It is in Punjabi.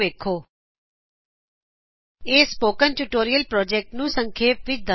httpspoken tutorialorgWhat is a spoken tutorial ਇਹ ਸਪੋਕਨ ਟਯੂਟੋਰਿਅਲ ਪ੍ਰੋਜੈਕਟ ਨੂੰ ਸੰਖੇਪ ਵਿੱਚ ਦਸੱਦਾ ਹੈ